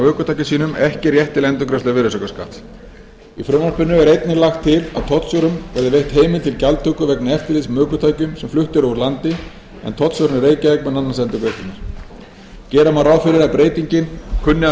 ökutækjum sínum ekki rétt til endurgreiðslu virðisaukaskatts í frumvarpinu er einnig lagt til að tollstjórum verði veitt heimild til gjaldtöku vegna eftirlits með ökutækjum sem flutt eru úr landi en tollstjórinn í reykjavík mun annast endurgreiðslurnar gera má ráð fyrir að breytingin kunni að